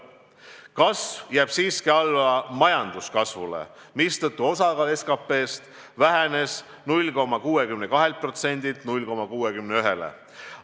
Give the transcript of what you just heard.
Kasv jääb siiski alla majanduse kasvule, mistõttu osakaal SKT-st vähenes 0,62%-lt 0,61%-le.